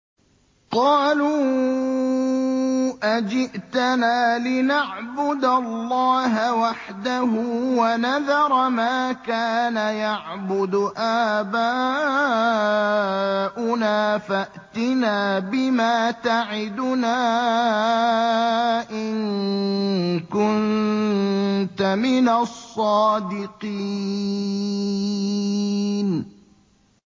قَالُوا أَجِئْتَنَا لِنَعْبُدَ اللَّهَ وَحْدَهُ وَنَذَرَ مَا كَانَ يَعْبُدُ آبَاؤُنَا ۖ فَأْتِنَا بِمَا تَعِدُنَا إِن كُنتَ مِنَ الصَّادِقِينَ